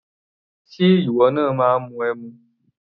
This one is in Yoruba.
Ṣe ìwọ máa ń mu ẹmu?